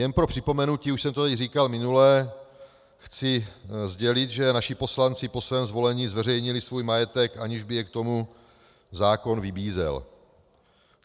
Jen pro připomenutí, už jsem to tady říkal minule, chci sdělit, že naši poslanci po svém zvolení zveřejnili svůj majetek, aniž by je k tomu zákon vybízel.